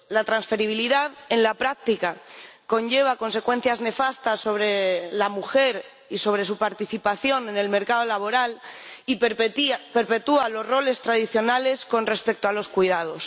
La transferibilidad, en la práctica, conlleva consecuencias nefastas para la mujer y para su participación en el mercado laboral y perpetúa los roles tradicionales con respecto a los cuidados.